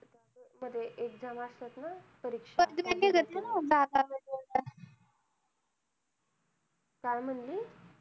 मध्ये exam असतात ना परीक्षा. काय म्हणली?